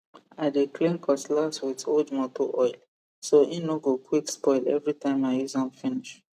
i dey clean cutlass with old moto oil so hin no go quick spoil everytime i use am finish